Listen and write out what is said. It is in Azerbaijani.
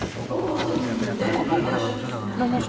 O qozu hündürdən bir daşın üstünə atır.